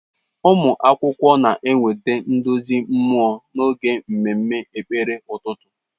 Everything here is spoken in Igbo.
Ụmụ akwụkwọ na-enweta nduzi mmụọ n'oge mmemme ekpere ụtụtụ.